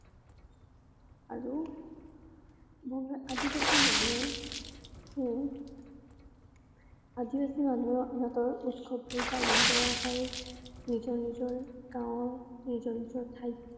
আৰু বংগ~আদিবাসী মানুহে উম আদিবাসী মানুহে সিহঁতৰ উৎসৱবুৰ পালন কৰা হয় নিজৰ নিজৰ গাওঁৰ নিজৰ নিজৰ ঠাইত ।